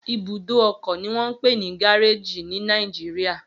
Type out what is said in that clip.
Ibùdó ọkọ ni wọ́n ń pè ní gáréèjì ní Nàìjíríà